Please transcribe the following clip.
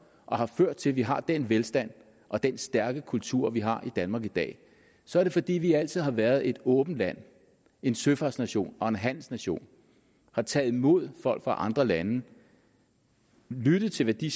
og har ført til at vi har den velstand og den stærke kultur vi har i danmark i dag så er det fordi vi altid har været et åbent land en søfartsnation og en handelsnation har taget imod folk fra andre lande lyttet til hvad de